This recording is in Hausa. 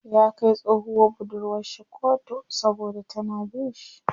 Ya kai tsohuwar budurwar shi koto saboda tana bin shi.